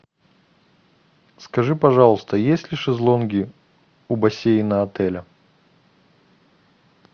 скажи пожалуйста есть ли шезлонги у бассейна отеля